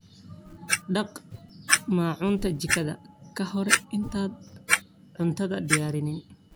Dhaq maacuunta jikada ka hor intaadan cuntada diyaarin.